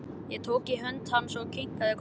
Ég tók í hönd hans og kinkaði kolli.